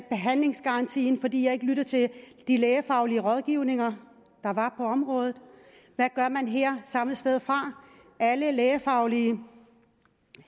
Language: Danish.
behandlingsgarantien fordi jeg ikke lyttede til de lægefaglige rådgivninger der var på området hvad gør man her samme sted fra alle lægefaglige